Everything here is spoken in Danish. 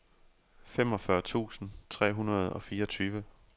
femogfyrre tusind tre hundrede og fireogtyve